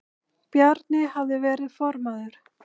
Bjarni hafði verið formaður